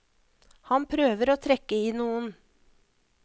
Han prøver å trekke i noen.